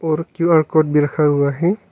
और Q R code भी रखा हुआ है।